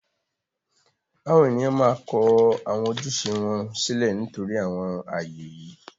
àwọn ènìyàn máa kọ àwọn ojúṣe wọn sílẹ̀ nítorí àwọn ààyè yìí.